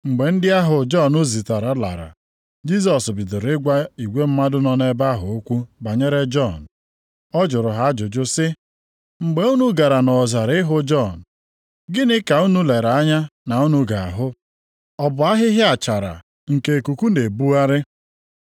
Mgbe ndị ahụ Jọn zitere lara, Jisọs bidoro ịgwa igwe mmadụ nọ nʼebe ahụ okwu banyere Jọn. Ọ jụrụ ha ajụjụ sị, “Mgbe unu gara nʼọzara ịhụ Jọn, gịnị ka unu lere anya na unu ga-ahụ? Ọ bụ ahịhịa achara nke ikuku na-ebugharị?